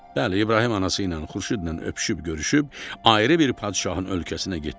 Bəli, İbrahim anası ilə, Xurşudla öpüşüb görüşüb, ayrı bir padşahın ölkəsinə getdi.